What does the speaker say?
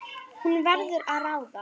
Hún verður að ráða.